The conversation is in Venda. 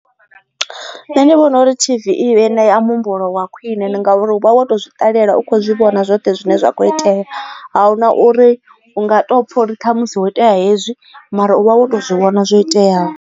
Nṋe ndi vhona uri T_V i ṋe ya muhumbulo wa khwine ndi ngauri uvha woto zwiṱalela u kho zwi vhona zwoṱhe zwine zwa kho itea ahu na uri hu nga to pfha uri ṱhamusi ho itea hezwi mara uvha woto zwi vhona zwo iteaho.